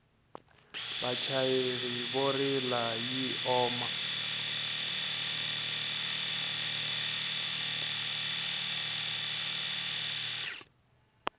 vachayeri vo rila yi oma